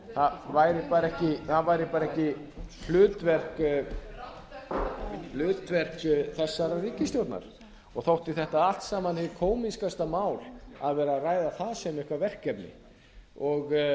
það væri bara ekki hlutverk þessarar ríkisstjórnar og þótti þetta alls saman hið kómískasta mál að vera að ræða það sem eitthvert verkefni og